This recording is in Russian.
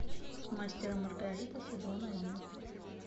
мастер и маргарита сезон один